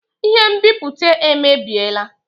Ihe nbipute emebiela